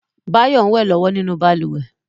Báyọ̀ ń wẹ̀ lọ́wọ́ nínú balùwẹ̀